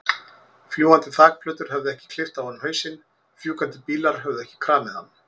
Fljúgandi þakplötur höfðu ekki klippt af honum hausinn, fjúkandi bílar höfðu ekki kramið hann.